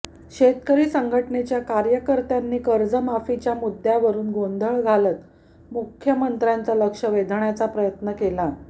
शेतकरी संघटनेच्या कार्यकर्त्यांनी कर्जमाफीच्या मुद्द्यावरुन गोंधळ घालत मुख्यमंत्र्यांचं लक्ष वेधण्याचा प्रयत्न केला